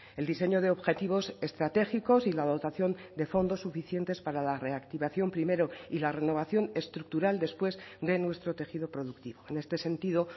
el diseño de objetivos estratégicos y la dotación de fondos suficientes para la reactivación primero y la renovación estructural después de nuestro tejido productivo en este sentido